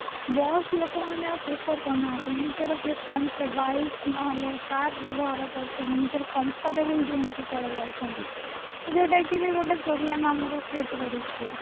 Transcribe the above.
ବସ ଲୋକ ମାନେ ଆଉ prefer କରୁ ନାହାନ୍ତି ନିଜର bike ନହଲେ car ବ୍ୟବହାର କରୁଛନ୍ତି ନିଜର comfortable zone କୁ ପଳେଈ ଯାଉଛନ୍ତି ଯୋଉଟା କି ବି ଗୋଟେ problem ଆମାର create କରୁଛି